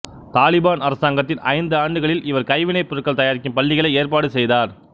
தாலிபான் அரசாங்கத்தின் ஐந்து ஆண்டுகளில் இவர் கைவினைப் பொருள்கள் தயாரிக்கும் பள்ளிகளை ஏற்பாடு செய்தார்